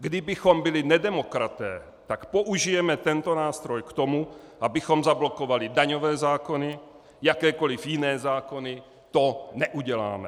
Kdybychom byli nedemokraté, tak použijeme tento nástroj k tomu, abychom zablokovali daňové zákony, jakékoli jiné zákony, to neuděláme.